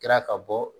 Kɛra ka bɔ